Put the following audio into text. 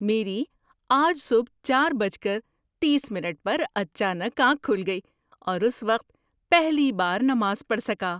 میری آج صبح چار بج کر تیس منٹ پر اچانک آنکھ کھل گئی اور اس وقت پہلی بار نماز پڑھ سکا۔